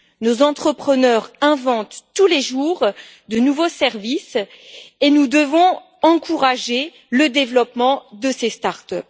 Nos entrepreneurs inventent tous les jours de nouveaux services et nous devons encourager le développement de ces start up.